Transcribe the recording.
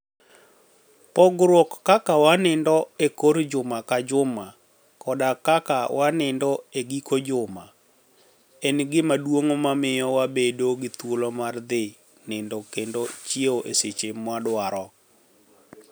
Pogruok kaka waniinidogo e kor juma ka juma koda kaka waniinido e giko juma, e gima duonig' mamiyo wabedo gi thuolo mar dhi niinido kenido chiewo e seche mwadwaro.